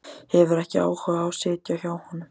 Hefur ekki áhuga á að sitja hjá honum.